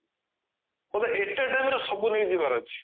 କହିବେ ଏକା time ରେ ସବୁ ନେଇଯିବାର ଅଛି